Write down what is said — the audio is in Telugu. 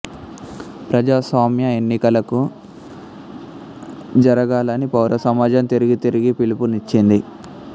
ప్రజాస్వామ్య ఎన్నికలకు జరగాలని పౌర సమాజం తిరిగి తిరిగి పిలుపునిచ్చింది